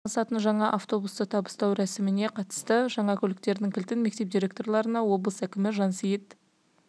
тасымалдаумен айналысатын жаңа автобусты табыстау рәсіміне қатысты жаңа көліктердің кілтін мектеп директорларына облыс әкімі жансейіт